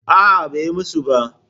A'a, bai musu ba.